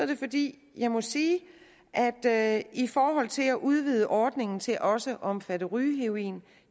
det fordi jeg må sige at at i forhold til at udvide ordningen til også at omfatte rygeheroin